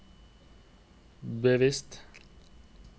bevisst